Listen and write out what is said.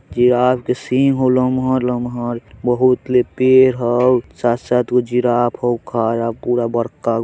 giraffe के सिंह हो लमहर-लमहर बहुत ले पेड़ हउ साथ-साथ वो जिराफ हउ खड़ा पूरा बड़काऊ--